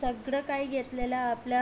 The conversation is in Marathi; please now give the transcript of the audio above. सगळं काही घेतलेल आपल्या